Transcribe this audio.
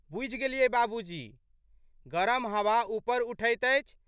बूझि गेलियै बाबूजी। गरम हवा ऊपर उठैत अछि।